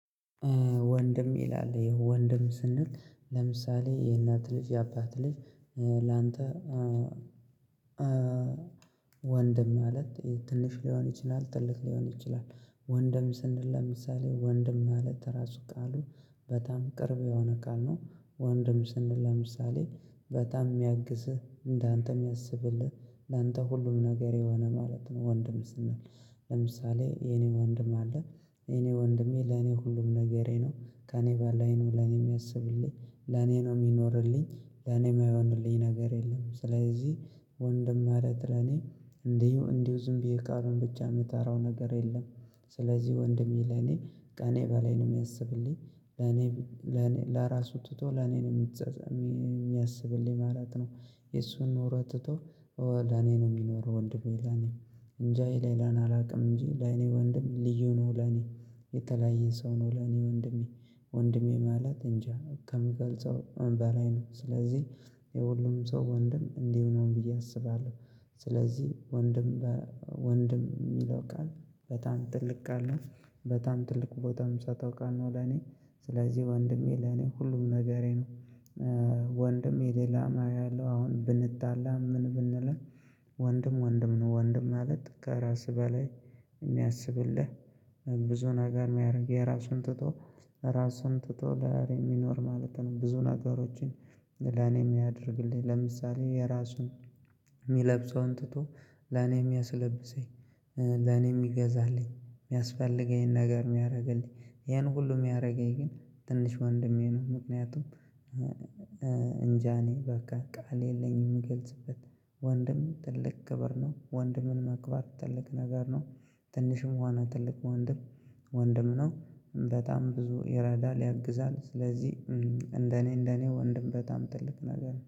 ወንድም ይላል ወንድም ስንል ለምሳሌ የእናት ልጅ የአባት ልጅ ላንተ ወንድም ማለት ትንሽ ሊሆን ይችላል ትልቅ ሊሆን ይችላል ወንድም ስንል ለምሳሌ ወንድም ማለት ራሱ ቃሉ በጣም ቅርብ የሆነ ቃል ነው ወንድም ስንል ለምሳሌ በጣም የሚያግዝህ እንዳንተም ያስብልህ ላንተ ሁሉም ነገር የሆነ ማለት ነው ወንድም ስንል ለምሳሌ የኔ ወንድም አለ የኔ ወንድሜ ለኔ ሁሉም ነገሬ ነው፤ ከእኔ በላይ ነው ለኔም የሚያስብልኝ ለኔ ነው የሚኖርልኝ ለኔም የማይሆንልኝ ነገር የለም ስለዚህ ወንድም ማለት ለኔ እንዲሁ እንዲሁ ዝም ብዬ ቃሉን ብቻ የምጠራው ነገር የለም ስለዚህ ወንድሜ ለኔ ከእኔ በላይ ነው የሚያስብልኝ ለኔ ለራሱ ትቶ ለኔ ነው የሚያስብልኝ ማለት ነው የሱን ኖሮ ትቶ ለኔ ነው የሚኖረው ወንድሜ ለኔ እንጃዬ ለሌላ አላውቅም እንጂ ለይኔ ወንድም ልዩ ነው ለኔ የተለያየ ሰው ነው ለኔ ወንድሜ ወንድሜ ማለት እንጃ ከምገልጸው በላይ ነው ስለዚህ የሁሉም ሰው ወንድም እንዲህ ነው ብዬ አስባለሁ ስለዚህ ወንድም ወንድም የሚለው ቃል በጣም ጥልቅ ቃል ነው በጣም ትልቅ ቦታም የምሰጠው ቃል ነው ለኔ ስለዚህ ወንድሜ ለኔ ሁሉም ነገሬ ነው ወንድሜ የሌላ ማየው አለው አሁን ብንጣላ ምን ብንለን ወንድም ወንድም ነው ወንድም ማለት ከራስህ በላይ የሚያስብልህ ብዙ ነገር የሚያደርግ የራሱን ትቶ ራሱን ትቶ ለእኔ የሚኖር ማለት ነው ብዙ ነገሮችን ለኔም ያደርግልኝ ለምሳሌ የራሱን የሚለብሰውን ትቶ ለኔም ያስለብሰኝ ለኔም የሚገዛልኝ የሚያስፈልገኝን ነገር የሚያደርግልኝ ይሄን ሁሉ የሚያደርገኝ ግን ትንሽ ወንድሜ ነው ምክንያቱም እንጃኔ በቃ ቃል የለኝም የምገልጽበት ወንድም ትልቅ ክብር ነው ወንድምን ማክበር ትልቅ ነገር ነው ትንሽም ሆነ ትልቅ ወንድም ወንድም ነው በጣም ብዙ ይረዳል ያግዛል ስለዚህ እንደኔ እንደኔ ወንድም በጣም ትልቅ ነገር ነው።